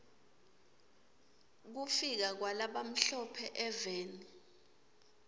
kufika kwala bamhlo phe eveni